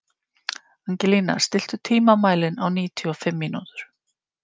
Angelína, stilltu tímamælinn á níutíu og fimm mínútur.